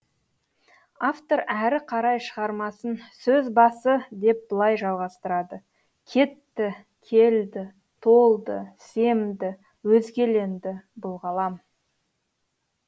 автор әрі қарай шығармасын сөз басы деп былай жалғастырады кетті келді толды семді өзгеленді бұл ғалам